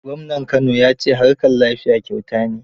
Gwamnan Kano ya ce harkar lafiya kyauta ne.